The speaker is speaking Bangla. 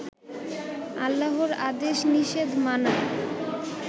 আল্লাহর আদেশ নিষেধ মানা